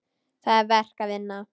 Það er verk að vinna.